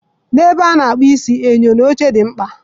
N'ebe a na-akpụ isi, enyo na oche dị mkpa